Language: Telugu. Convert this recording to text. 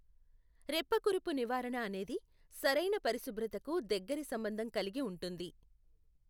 రెప్పకురుపు నివారణ అనేది సరైన పరిశుభ్రతకు దగ్గరి సంబంధం కలిగి ఉంటుంది.